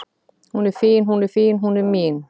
Hún er fín hún er fín, hún er mín